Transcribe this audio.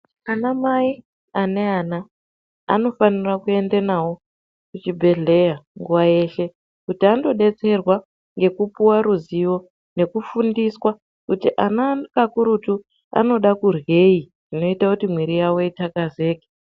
Ana mai ane ana anofanira kuenda navo kuchibhedhleya nguva yeshe. Kuti andobetserwa ngekupuva ruzivo nekufundiswa kuti ana kakurutu anoda kuryei zvinoite kuti mwiri yavo itakazeke.